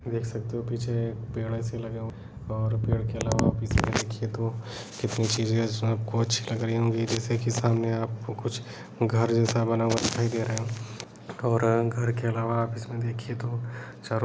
देख सकते हो पीछे पेड़ ऐसे लगे हुए और पेड़ के अलावा पीछे देखिये तो कितनी चीजे सब कुछ लग रही होंगी जैसे के सामने आप को कुछ घर जैसा बना हुआ दिखाई दे रहा है और घर के अलावा इसमें देखिये तो चारों --